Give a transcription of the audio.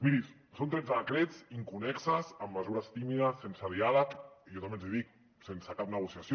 miri són tretze decrets inconnexos amb mesures tímides sense diàleg i jo també els hi dic sense cap negociació